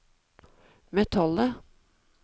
metallet